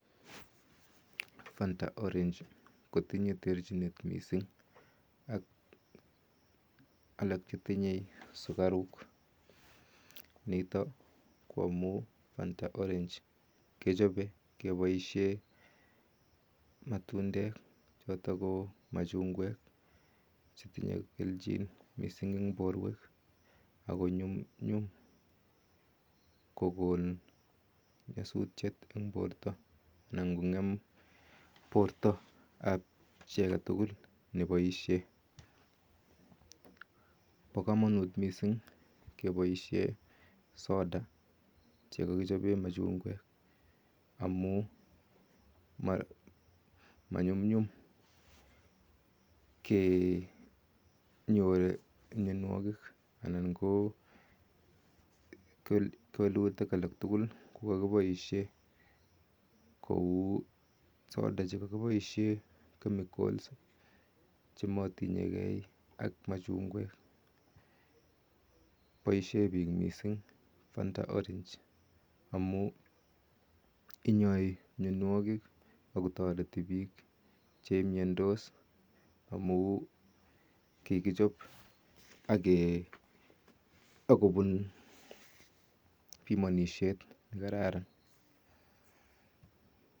Fanta orange kotinye terchinet mising ak alak chetinye sukaruk, nitok ko amu Fanta orange kechope keboishe matundek choto ko machungwek chetinye kelchin mising eng borwek akonyumnyum kokon nyasutiet eng borto anan kong'em bortoap chi aketukul neboishe. Po komonut mising keboishe soda chekakiboishe machungwek amu manyumnyum kenyor mienwokik anan ko kewelutik alak tugul yekakeboishe kou soda chekakiboishe chemicals chematinyegei ak machungwek. Boishe biik mising Fanta orange amu inyoi mienwokik akotoreti biik cheimiendos amu kikichop ake akopun pimonishet nekararan.